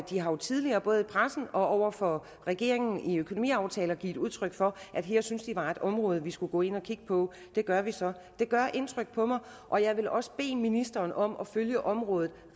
de har jo tidligere både i pressen og over for regeringen i økonomiaftaler givet udtryk for at her syntes de der var et område vi skulle gå ind og kigge på og det gør vi så det gør indtryk på mig og jeg vil også bede ministeren om at følge området